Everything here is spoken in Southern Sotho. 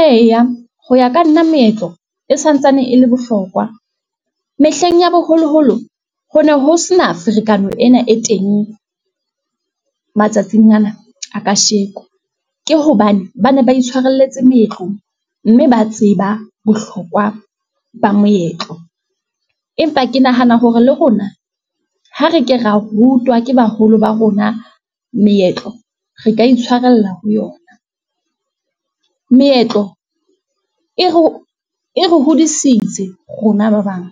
Eya, ho ya ka nna meetlo e santsane e le bohlokwa, mehleng ya boholoholo ho ne ho sena ferekano ena e teng matsatsing ana, a kasheko, ke hobane ba ne ba itshwarelletsa meetlong, mme ba tseba bohlokwa ba meetlo, empa ke nahana hore le rona, ha re ke ra rutwa ke baholo ba rona meetlo, re ka itshwarella ho yona. Meetlo e re hodisitse rona ba bang,